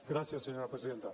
gràcies senyora presidenta